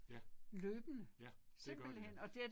Ja. Ja, det gør det